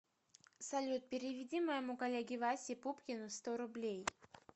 салют переведи моему коллеге васе пупкину сто рублей